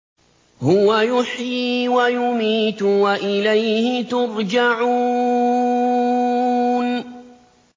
هُوَ يُحْيِي وَيُمِيتُ وَإِلَيْهِ تُرْجَعُونَ